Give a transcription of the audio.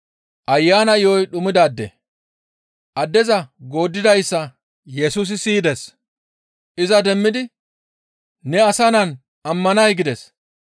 Addeza gooddidayssa Yesusi siyides. Iza demmidi, «Ne Asa Naan ammanay?» gides.